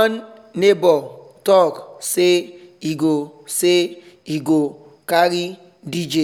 one neighbor talk say e go say e go carry dj